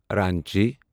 Ranchi